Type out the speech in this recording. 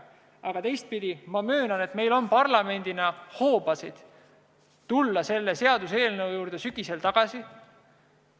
Aga teistpidi, ma möönan, et meil on parlamendina hoobasid tulla selle seaduseelnõu juurde sügisel tagasi.